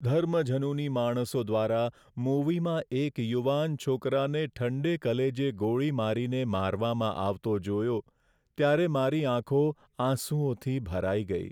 ધર્મઝનૂની માણસો દ્વારા મૂવીમાં એક યુવાન છોકરાને ઠંડે કલેજે ગોળી મારીને મારવામાં આવતો જોયો, ત્યારે મારી આંખો આંસુઓથી ભરાઈ ગઈ.